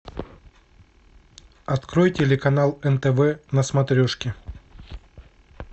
открой телеканал нтв на смотрешке